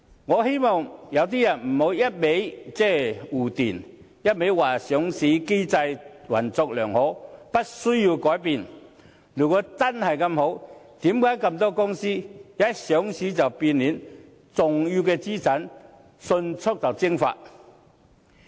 我不希望有些人只是堅持護短，堅持說上市機制運作良好，無須改變，如果真的這麼好，為何這麼多公司一上市便變臉，重要資產迅速蒸發？